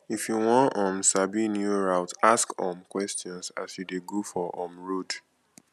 if you won um sabi new route ask um questions as you de go for um road